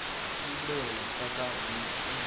yi le hehla hi ikhonomi